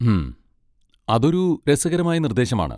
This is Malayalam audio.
ഹും, അതൊരു രസകരമായ നിർദ്ദേശമാണ്.